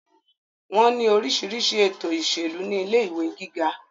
wọ́n ní orísirísi ètò ìṣèlú ní ilé ìwé gíga